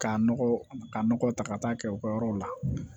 K'a nɔgɔ ka nɔgɔ ta ka taa kɛ u ka yɔrɔw la